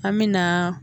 An me na